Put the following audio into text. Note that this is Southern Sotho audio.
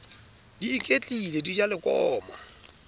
di iketlile di ja lekomo